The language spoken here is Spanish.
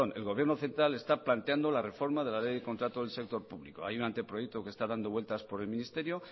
el gobierno central está planteando la reforma de la ley del contrato del sector público hay un anteproyecto que está dando vueltas por el ministerio